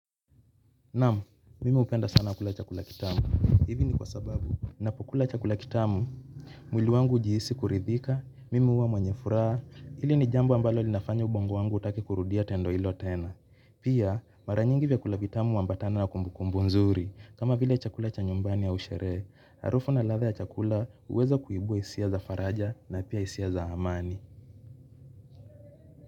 Naam, mimi hupenda sana kula chakula kitamu. Hivi ni kwa sababu. Ninapokula chakula kitamu, mwili wangu hujihisi kuridhika, mimi huwa mwenye furaha. Hili ni jambo ambalo linafanya ubongo wangu hutaki kurudia tendo hilo tena. Pia, mara nyingi vyakula vitamu huambatana na kumbukumbu nzuri. Kama vile chakula cha nyumbani ya sherehe. Harufu na ladha ya chakula huweza kuibua hisia za faraja na pia hisia za amani.